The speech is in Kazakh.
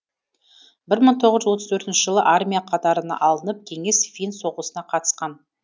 бір мың тоғыз жүз отыз тоғызыншы жылы армия қатарына алынып кеңес финн соғысына қатысқан